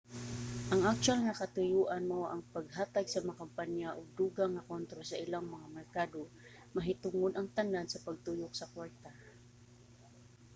ang aktuwal nga katuyoan mao ang paghatag sa mga kompanya og dugang nga kontrol sa ilang mga merkado; mahitungod ang tanan sa pagtuyok sa kwarta